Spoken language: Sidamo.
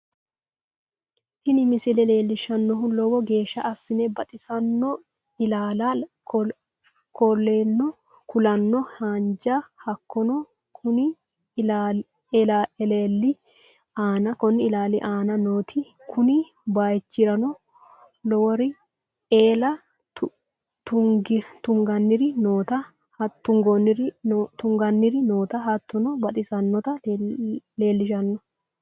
Tiini miisle lelshannohu loowo geesha asse baaxisanoo ellala kooleno haanja haakeno kooni ellali aana nootatii kuuni baaycrano loowori eele tunganiri noota haatono baaxsanota lelshanoo.